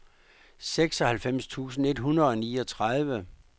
seksoghalvfems tusind et hundrede og niogtredive